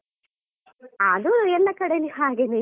ಆದು ಎಲ್ಲ ಕಡೆನು ಹಾಗೇನೇ.